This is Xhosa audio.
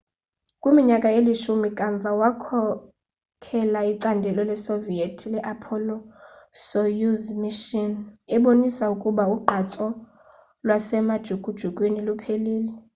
kwiminyaka elishumi kamva wakhokela icandelo lasesoviet le-apollo soyuz mission ebonisa ukuba ugqatso lwasemajukujukwini luphelile